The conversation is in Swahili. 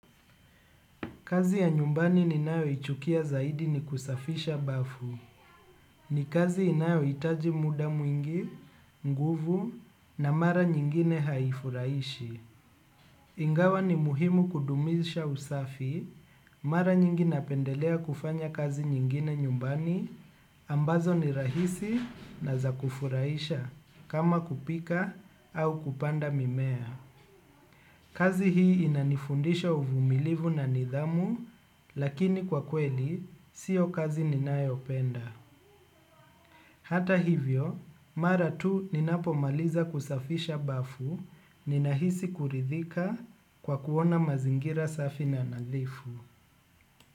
Kazi ya nyumbani ninayo ichukia zaidi ni kusafisha bafu. Ni kazi inayo itaji muda mwingi, nguvu na mara nyingine haifuraishi. Ingawa ni muhimu kudumisha usafi, mara nyingi napendelea kufanya kazi nyingine nyumbani, ambazo ni rahisi na zakufurahisha, kama kupika au kupanda mimea. Kazi hii inanifundisha uvumilivu na nidhamu, lakini kwa kweli, sio kazi ninayopenda. Hata hivyo, mara tu ninapo maliza kusafisha bafu, ninahisi kuridhika kwa kuona mazingira safi na nadhifu.